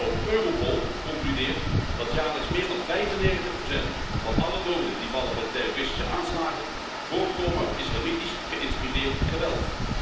Ook Europol concludeert dat jaarlijks meer dan 95 van alle doden die vallen bij terroristische aanslagen voortkomen uit islamitisch geïnspireerd geweld.